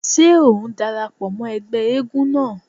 Ṣé ò ń dara pọ̀ mọ́ ẹgbẹ́ eégún náà?